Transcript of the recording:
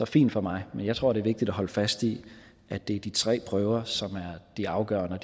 fint for mig men jeg tror det er vigtigt at holde fast i at det er de tre prøver som er afgørende og